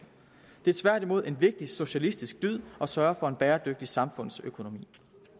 det er tværtimod en vigtig socialistisk dyd at sørge for en bæredygtig samfundsøkonomi